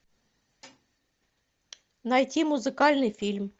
найти музыкальный фильм